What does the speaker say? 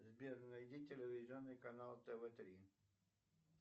сбер найди телевизионный канал тв три